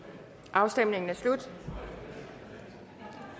afstemningen er slut